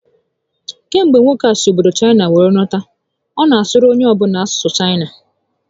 Kemgbe nwoke a si obodo Chaịna were lọta, ọ na asụrụ onye ọ bụla asụsụ Chaịna